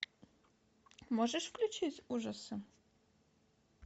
можешь включить ужасы